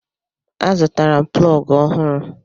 Azụtala m plọgụ ọhụrụ.